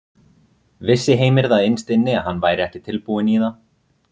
Vissi Heimir það innst inni að hann væri ekki tilbúinn í það?